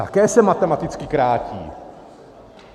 Také se matematicky krátí.